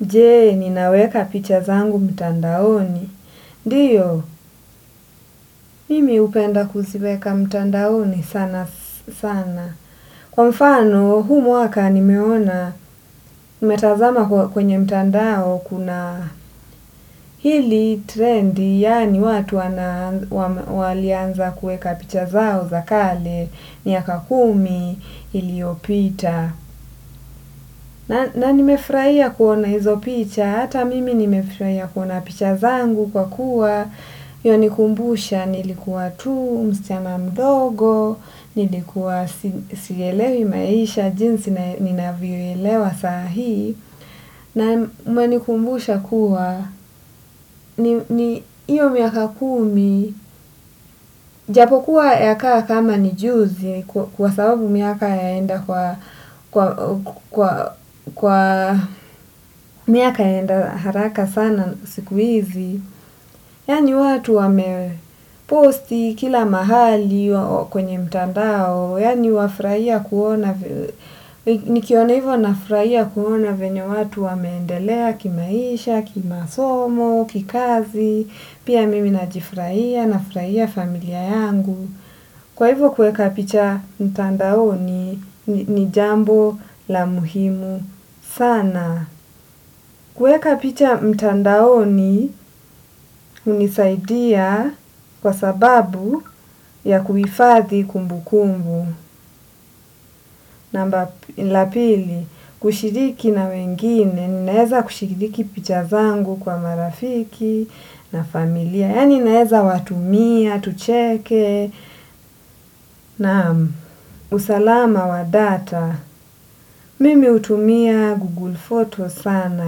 Jee, ninaweka picha zangu mtandaoni. Diyo, mimi upenda kuziweka mtandaoni sana sana. Kwa mfano, huu mwaka nimeona, nimetazama kwenye mtandao kuna hili trend, yani watu wana walianza kuweka picha zao za kale, miaka kumi, iliopita. Na nimefraia kuona hizo picha, hata mimi nimefraia ya kuna picha zangu kwa kuwa yani kumbusha nilikuwa tu, msichana mdogo. Nilikuwa sielewi maisha, jinsi ninavyoielewa sahi. Na menikumbusha kuwa iyo miaka kumi japokuwa ya kaa kama nijuzi. Kwa sababu miaka yaenda kwa kwa miaka yaenda haraka sana sikuizi. Yani watu wame posti kila mahali kwenye mtandao, yani wafraia kuona, nikiona hivyo nafraia kuona venya watu wameendelea kimaisha, kima somo, kikazi, pia mimi najifraia, nafraia familia yangu. Kwa hivo kuweka picha mtandaoni ni jambo la muhimu sana. Kuweka picha mtandaoni unisaidia kwa sababu ya kuifadhi kumbu kumbu. Namba la pili, kushidiki na wengine, ninaeza kushiriki pichazangu kwa marafiki na familia, yani ninaeza watumia, tucheke, na usalama wa data. Mimi utumia Google Photos sana.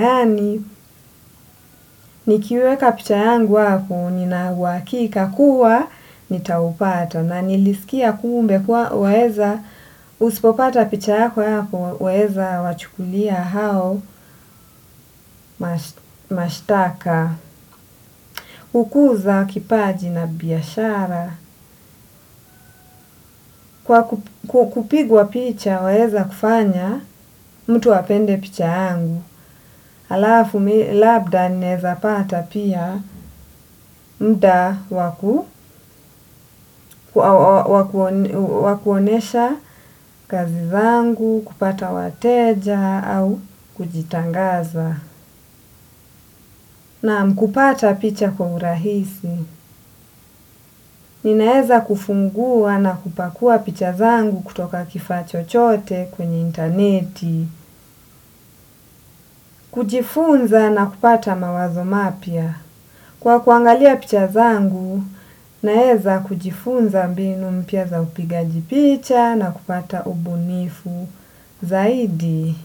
Yani, nikiweka picha yangu hapoo, nina uwakika kuwa, nitaupata. Na nilisikia kumbe kuwa waeza, usipopata picha yako hapo, weza wachukulia hao, mashitaka. Hukuza kipaji na biyashara. Kwa kupigwa picha, waeza kufanya, mtu apende picha yangu. Alafu labda nineza pata pia muda wa kuonesha kazi zangu kupata wateja au kujitangaza. Naam kupata picha kwa urahisi. Ninaeza kufungua na kupakua picha zangu kutoka kifaa chochote kwenye interneti. Kujifunza na kupata mawazo mapya. Kwa kuangalia picha zangu, naeza kujifunza mbinu mpya za upigaji picha na kupata ubunifu zaidi.